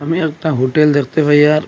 আমি একটা হোটেল দেখতে পাই আর--